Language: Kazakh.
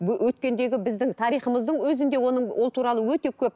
өткендегі біздің тарихымыздың өзінде оның ол туралы өте көп